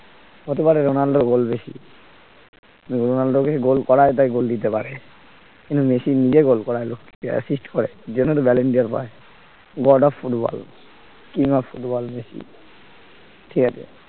হতে পারে রোনাল্ডোর goal বেশি রোনাল্ডোকে goal করায় তাই goal দিতে পারে কিন্তু মেসি নিজে goal দিয়ে করায় লোককে assist করে এই জন্যই তো balloon dOr boy, god of football king of football Messi ঠিক আছে